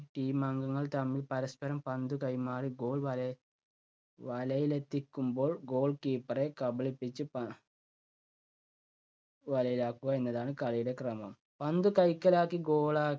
team അംഗങ്ങൾ തമ്മിൽ പരസ്പരം പന്ത് കൈമാറി goal വല വലയിലെത്തിക്കുമ്പോൾ goalkeeper റെ കബളിപ്പിച്ച് പ വലയിലാക്കുക എന്നതാണ് കളിയുടെ ക്രമം. പന്ത് കൈക്കലാക്കി goal